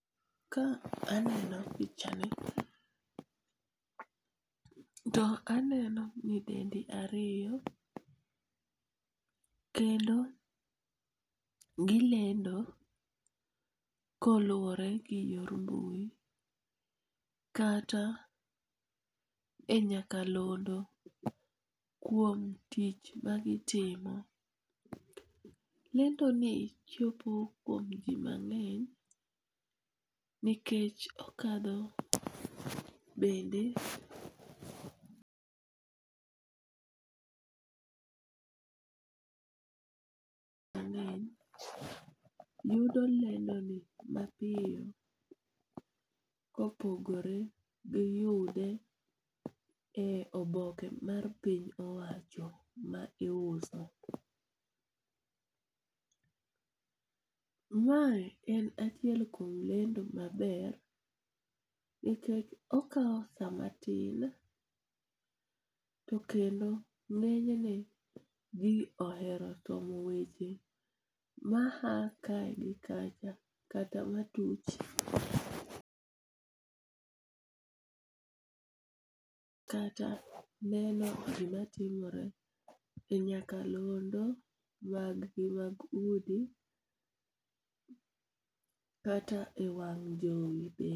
Ka aneno pichani to aneno nyidendi ariyo, kendo gilendo koluore gi yo mbui, kata e nyakalondo kuom tich magitimo. Lendoni chopo kuom ji mang'eny nikech okadho bende mang'eny yudo lendoni mapiyo kopogore gi yude e oboke mar piny owacho ma iuso. Mae en achiel kuom lendo maber nikech okawo saa matin to kendo ng'enyne ji ohero somo weche maya ka gi kacha kata ma tuch kata neno gimatimore e nyakalondo magi mag udi kata e wang' jowi be.